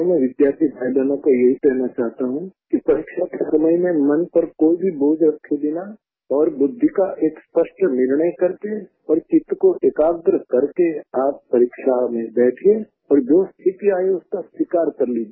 मैं विद्यार्थी भाइयोंबहनों को यही कहना चाहता हूँ कि परीक्षा के समय में मन पर कोई भी बोझ रखे बिना और बुद्धि का एक स्पष्ट निर्णय करके और चित को एकाग्र करके आप परीक्षा में बैठिये और जो स्थिति आई है उसको स्वीकार कर लीजिए